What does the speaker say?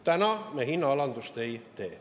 Täna me hinnaalandust ei tee.